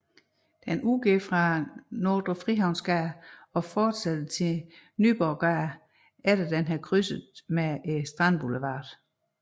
Den udgår fra Nordre Frihavnsgade og fortsætter til Nyborggade efter en krydsning med Strandboulevarden